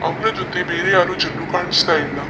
ಅವನ ಜೊತೆ ಬೇರೆ ಯಾರೂ ಜನ್ರು ಕಾಣಿಸ್ತಾ ಇಲ್ಲ .